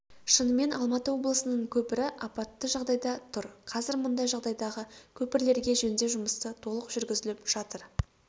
шынымен алматы облысының көпірі апатты жағдайда тұр қазір мұндай жағдайдағы көпірлерге жөндеу жұмысы толық жүргізіліп жатыр